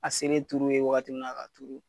A selen tujru ye waati min na k'a turu.